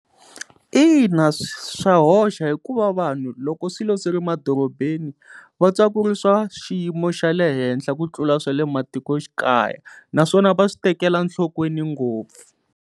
Ina, swa hoxa hikuva vanhu loko swilo swi ri madorobeni va twa ku ri swa xiyimo xa le henhla ku tlula swa le matikoxikaya naswona va swi tekela nhlokweni ngopfu.